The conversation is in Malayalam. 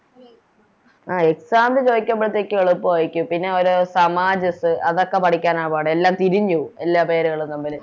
ആ Exam ന് ചോയിക്കുമ്പളത്തേക്കിനും എളുപ്പാരിക്കും പിന്നെ ഒര് അതൊക്കെ പഠിക്കാന പാട് എല്ലാം തിരിഞ്ഞ് പോകും എല്ലാ പേരുകളും തമ്മില്